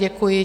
Děkuji.